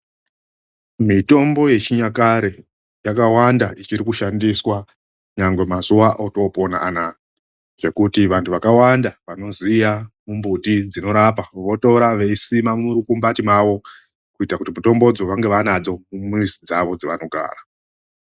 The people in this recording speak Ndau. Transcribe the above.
MITOMBO YECHINYAKARE YAKAWANDA ICHIRIKUSHANDISWA NYANGWE MAZUWA ATOOPONA ANAAYA , ZVEKUTI ANTU VAKAWANDA VANOZIVA MBUTI DZINORAPA VOTORA VEISIMA MURUKUMBATI MAVO ,KUITIRA KUTI MITOMBOYO VANGA VANADZO MUMWIZI DZAVO DZAVANOGARA.